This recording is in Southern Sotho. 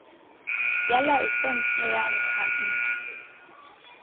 ya laesense ya ho kganna